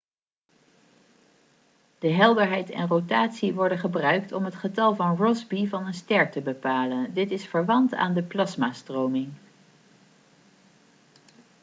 de helderheid en rotatie worden gebruikt om het getal van rossby van een ster te bepalen dit is verwant aan de plasmastroming